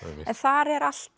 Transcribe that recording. en þar er allt